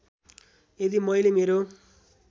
यदि मैले मेरो